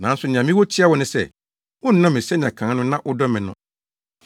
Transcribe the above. Nanso nea mewɔ tia wo ne sɛ, wonnɔ me sɛnea kan no na wodɔ me no.